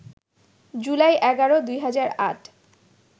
July ১১, ২০০৮